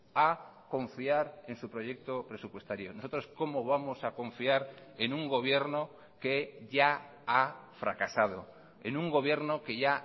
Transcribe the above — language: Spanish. a confiar en su proyecto presupuestario nosotros cómo vamos a confiar en un gobierno que ya ha fracasado en un gobierno que ya